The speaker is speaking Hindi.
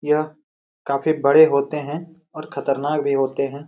यह काफी बड़े होते है और खतरनाक भी होते हैं।